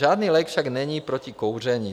Žádný lék však není "proti kouření".